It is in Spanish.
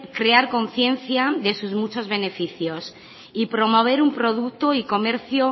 crear conciencia de sus muchos beneficios y promover un producto y comercio